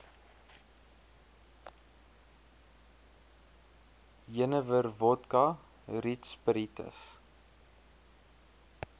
jenewer wodka rietsppiritus